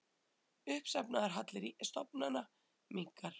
Uppsafnaður halli stofnana minnkar